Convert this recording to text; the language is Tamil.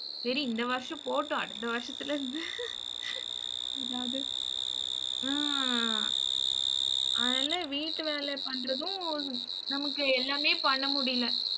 சரி இந்த வருஷம் போகட்டும், அடுத்த வருஷத்துல இருந்து, அதாவது ஹம் அதெல்லாம் வீட்டு வேலை பண்றதும் நமக்கு எல்லாமே பண்ண முடியல